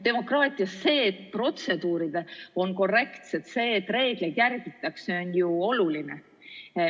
Demokraatias on protseduuride korrektsus ja reeglite järgmine oluline.